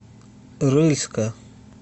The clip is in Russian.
рыльска